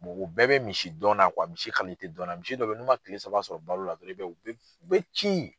o bɛɛ be misi dɔn na misi dɔn na, misi dɔw be yen n'u ma kile saba sɔrɔ balo dɔrɔn i b'a ye u be ci.